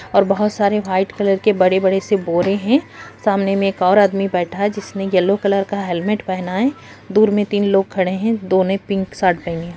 और बहुत सारे व्हाइट कलर के बड़े बड़े से बोरे है और उसमे एक और आदमी बैठा है जो यैलो कलर का हेलमेट पहने हुए है दूर मे तीन लोग खड़े हैं दो ने पिंक शर्ट पहने हुए है।